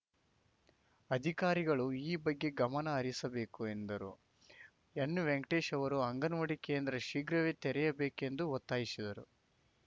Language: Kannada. ಅಧಿಕಾರಿಗಳು ಈ ಬಗ್ಗೆ ಗಮನ ಹರಿಸಬೇಕು ಎಂದರು ಎನ್‌ವೆಂಕಟೇಶ್‌ ಅವರು ಅಂಗನವಾಡಿ ಕೇಂದ್ರ ಶೀಘ್ರವೇ ತೆರೆಯಬೇಕೆಂದು ಒತ್ತಾಯಿಸಿದರು